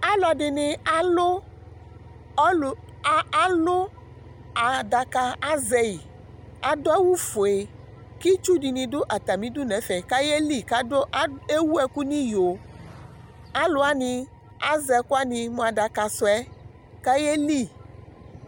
aluɛdɩnɩ azɛ adaka, kʊ adʊ awu fue, itsudɩnɩ dʊ atamidu n'ɛfɛ, kʊ ayeli kʊ ewu ɛkʊ nʊ iyo, alʊwanɩ azɛ ɛkʊɛdɩ mʊ adaka sʊɛ kʊ ayeli